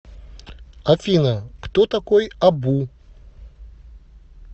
афина кто такой абу